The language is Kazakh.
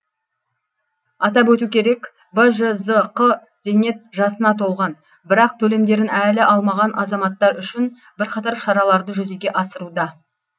атап өту керек бжзқ зейнет жасына толған бірақ төлемдерін әлі алмаған азаматтар үшін бірқатар шараларды жүзеге асыруда